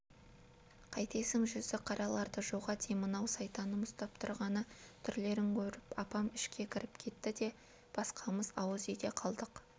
қайтесің жүзіқараларды жоға деймін-ау сайтаным ұстап тұрғаны түрлерін көріп апам ішке кіріп кетті де басқамыз ауыз үйде қалдық